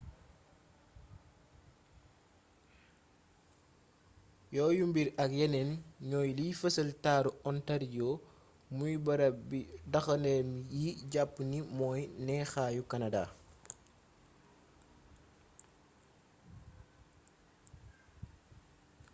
yooyu mbir ak yeneen ñooy liy fësal taaru ontario muy barab bi daxandéem yi jàpp ni mooy neexaayu canada